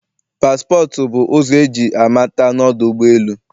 Passport bụ ụzọ eji amata na ọdụ ụgbọ elu